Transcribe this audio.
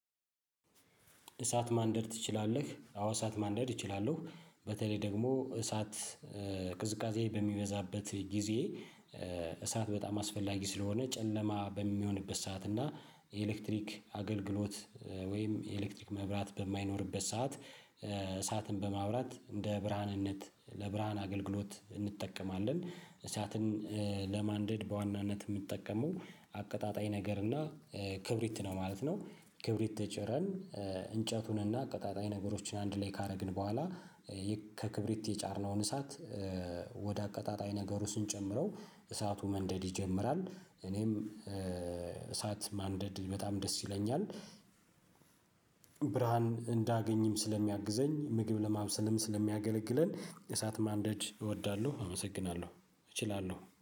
እሳት ማንደድ ትችላለህ? አዎ እሳት ማደድ እችላለሁ በተለይ ደግሞ እሳት ቅዝቃዜ በሚበዛበት ጊዜ። እሳት በጣም አስፈላጊ ስለሆነ ጨለማ በሚሆንበት ሰዓት እና የኤሌክትሪክ አገልግሎት ወይም የኤሌክትሪክ መብራት በማይኖርበት ሰዓት። እሳትን በማውራት እንደ ብርሃንነት ለብርሃን አገልግሎት እንጠቀማለን እሳትን። ለማንደድ በዋናነት ምጠቀመው አቀጣጣይ ነገር እና ክብሪት ነው ማለት ነው። ክብሪት ጭረን እንጨቱንና አቀጣጣይ ነገሮችን አንድ ላይ ካረግን በኋላ ከክብሪት የጫርነውን እሳት። ወደ አቀጣጣይ ነገሩ ስንጨምረው እሳቱ መንደድ ይጀምራል። እኔም እሳት ማንደድ በጣም ደስ ይለኛል። ብርሃን እንዳገኝም ስለሚያግዘኝ ምግብ ለማብሰልም ስለሚያገለግለን እሳት ማንደድ እወዳለሁ። አመሰግናለሁ እችላለሁ